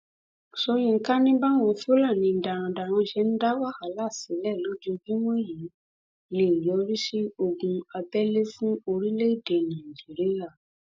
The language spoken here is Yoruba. sọyìnkà ni báwọn fúlàní darandaran ṣe ń dá wàhálà sílẹ lójoojúmọ yìí lè yọrí sí ogun abẹlé fún orílẹèdè nàíjíríà